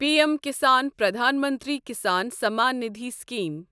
P M Kisan Pradhan Mantri Kisan Samman Nidhi scheme